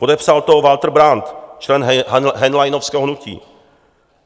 Podepsal to Walter Brand, člen henleinovského hnutí.